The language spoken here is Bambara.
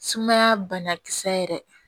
Sumaya banakisɛ yɛrɛ